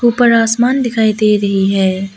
ऊपर आसमान दिखाई दे रही है।